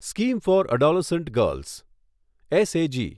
scheme for adolescent girls SAG